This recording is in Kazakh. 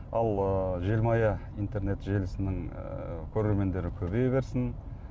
ал ы желмая интернет желісінің ыыы көрермендері көбейе берсін